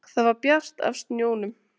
Það var bjart af snjónum.